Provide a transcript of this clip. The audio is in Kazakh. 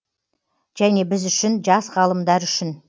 және біз үшін жас ғалымдар үшін